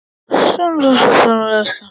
Sumt af því er skemmt.